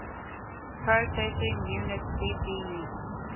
processing unit cpu